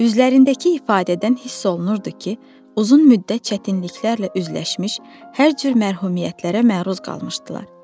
Üzlərindəki ifadədən hiss olunurdu ki, uzun müddət çətinliklərlə üzləşmiş, hər cür məhrumiyyətlərə məruz qalmışdılar.